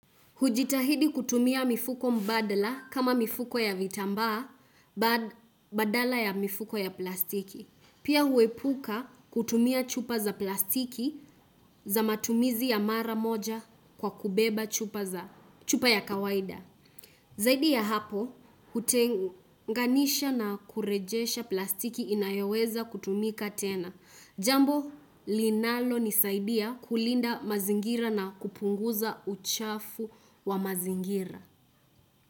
Hujitahidi kutumia mifuko mbadla kama mifuko ya vitambaa badala ya mifuko ya plastiki. Pia huepuka kutumia chupa za plastiki za matumizi ya mara moja kwa kubeba chupa za chupa ya kawaida. Zaidi ya hapo, hutenganisha na kurejesha plastiki inayoweza kutumika tena. Jambo linalonisaidia kulinda mazingira na kupunguza uchafu wa mazingira.